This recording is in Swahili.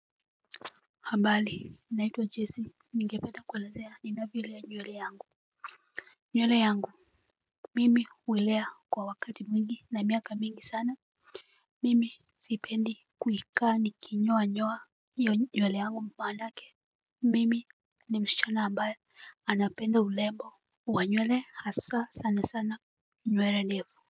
Ambali nina itwa jesi ninge penda kuelezea nina vyolea nywele yangu. Nywele yangu. Mimi uilea kwa wakati mingi na miaka mingi sana. Mimi siipendi. Kui kaa ni ki nyoa nyoa hio nywele yangu mpanake. Mimi nimsichana ambaye anapenda ulembo. Wa nywele haswa sana sana nywele lefu.